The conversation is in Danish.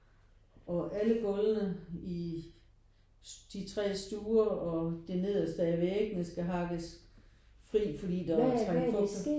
Og alle gulvene i de 3 stuer og det nederste af væggene skal hakkes fri fordi der var trængt fugt i